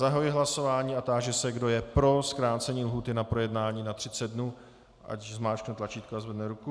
Zahajuji hlasování a táži se, kdo je pro zkrácení lhůty na projednání na 30 dnů, ať zmáčkne tlačítko a zvedne ruku.